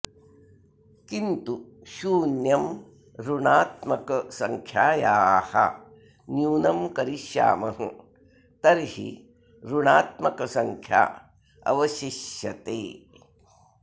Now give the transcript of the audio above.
किन्तु शून्यं ऋणात्मकसङ्ख्यायाः न्यूनं करिष्यामः तर्हि ऋणात्मकसङ्या अवशिष्यते